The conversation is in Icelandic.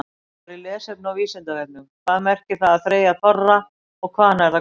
Frekara lesefni á Vísindavefnum: Hvað merkir það að þreyja þorra og hvaðan er það komið?